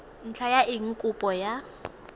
ntlha ya eng kopo ya